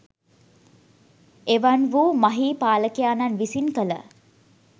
එවන් වූ මහී පාලකයාණන් විසින් කළ